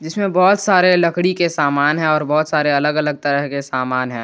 इसमें बहोत सारे लकड़ी के समान है और बहोत सारे अलग अलग तरह के समान है।